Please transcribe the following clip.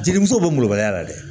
Jelimisɛnw bɛ mɔbaliya la dɛ